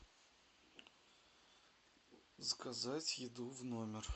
заказать еду в номер